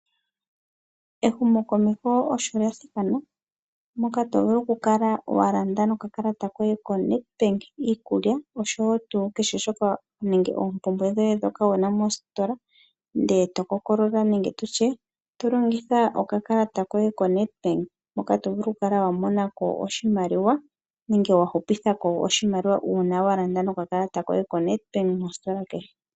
Ehumokomeho osho lyathikana, moka tovulu okukala wa landa no kakalata koye koNedbank iikulya oshowo tuu kehe shoka nenge oompumbwe dhoye ndhoka tomono mositola ,e to longitha okakalata koye koNedbank hoka tovulu okukala wa mo na ko nenge wahupithako oshimaliwa ngele wa landa no kakalata koye ko Nedbank mositola kehe.